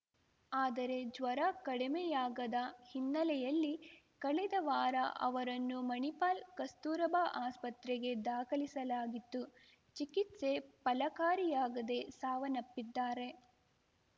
ಆದರೆ ಜ್ವರ ಕಡಿಮೆಯಾಗದ ಹಿನ್ನೆಲೆಯಲ್ಲಿ ಕಳೆದ ವಾರ ಅವರನ್ನು ಮಣಿಪಾಲ್ ಕಸ್ತೂರಬಾ ಆಸ್ಪತ್ರೆಗೆ ದಾಖಲಿಸಲಾಗಿತ್ತು ಚಿಕಿತ್ಸೆ ಫಲಕಾರಿಯಾಗದೇ ಸಾವನ್ನಪ್ಪಿದ್ದಾರೆ